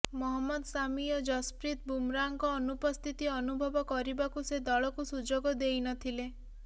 ମହମ୍ମଦ ସାମି ଓ ଜଶପ୍ରୀତ ବୁମରାଙ୍କ ଅନୁପସ୍ଥିତି ଅନୁଭବ କରିବାକୁ ସେ ଦଳକୁ ସୁଯୋଗ ଦେଇ ନଥିଲେ